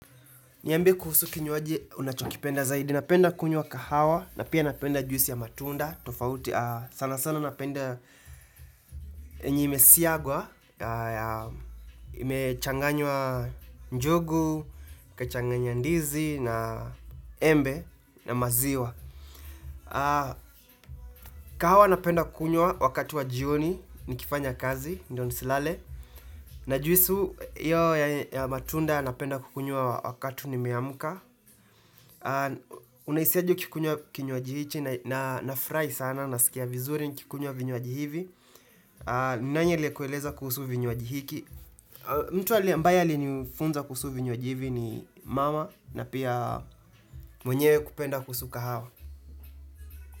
Niambie kuhusu kinywaji unachokipenda zaidi, napenda kunywa kahawa na pia napenda juisi ya matunda, tofauti sana sana napenda yenye imesiagwa na ya imechanganywa njugu, kachanganya ndizi na embe na maziwa. Kahawa napenda kunywa wakati wa jioni, nikifanya kazi, ndo nisilale, na juisu hiyo ya matunda napenda kukunywa wakatu nimeamka. Unahisi aje ukikuywa kinywaji hichi na nafurahi sana nasikia vizuri nikikunywa vinywaji hivi nani aliye kueleza kuhusu vinywanji hiki mtu li ambaye alinifunza kuhusu vinywanji hivi ni mama na pia mwenyewe kupenda kuhusu kahawa.